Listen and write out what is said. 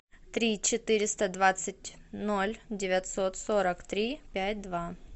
три четыреста двадцать ноль девятьсот сорок три пять два